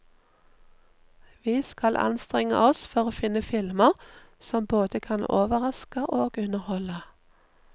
Vi skal anstrenge oss for å finne filmer som både kan overraske og underholde.